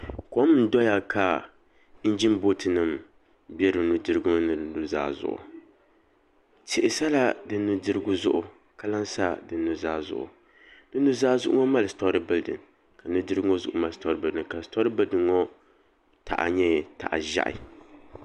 Kom n doya ka injin booti nim bɛ di nudirigu mini di nuzaa zuɣu tihi sala di nudirigu zuɣu ka lahi sa di nuzaa zuɣu di nuzaa zuɣu mali sitori bildin ka nudirigu ŋo zuɣu mali sitori bildin sitori bilfin ŋo taha nyɛ taha ʒiɛhi